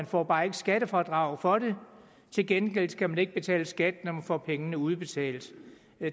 får bare ikke skattefradrag for det til gengæld skal man ikke betale skat når man får pengene udbetalt